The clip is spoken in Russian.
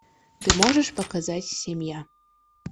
ты можешь показать семья